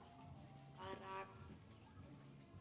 Hvað rak þau áfram?